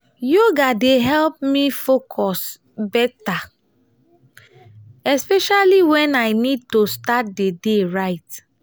yoga dey help me focus better especially when i need to start the day right.